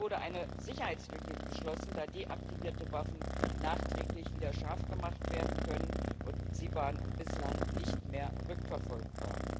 Hier wurde eine Sicherheitslücke geschlossen, da deaktivierte Waffen nachträglich wieder scharf gemacht werden können, und sie waren bislang nicht mehr rückverfolgbar.